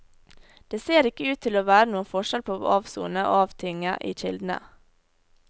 Det ser ikke ut til å være noen forskjell på avsone og avtinge i kildene.